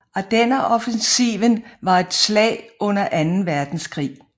Ardenneroffensiven var et slag under anden verdenskrig